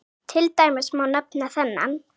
Til dæmis má nefna þennan